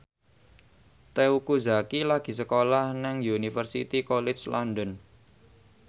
Teuku Zacky lagi sekolah nang Universitas College London